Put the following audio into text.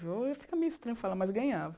Fica meio estranho falar, mas ganhava.